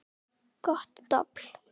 Gott dobl.